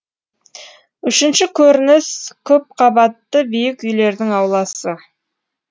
үшінші көрініс көпқабатты биік үйлердің ауласы